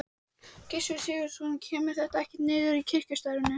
Gissur Sigurðsson: Kemur þetta ekkert niður á kirkjustarfinu?